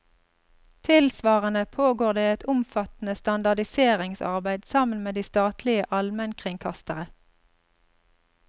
Tilsvarende pågår det et omfattende standardiseringsarbeid, sammen med de statlige almenkringkastere.